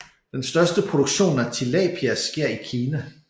Den største produktion af Tilapia sker i Kina